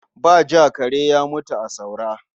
Ba ja, kare ya mutu a saura.